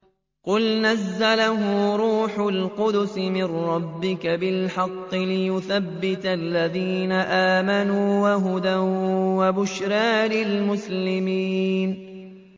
قُلْ نَزَّلَهُ رُوحُ الْقُدُسِ مِن رَّبِّكَ بِالْحَقِّ لِيُثَبِّتَ الَّذِينَ آمَنُوا وَهُدًى وَبُشْرَىٰ لِلْمُسْلِمِينَ